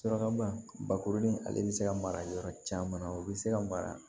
Suraka bakurulen ale bi se ka mara yɔrɔ caman o be se ka mara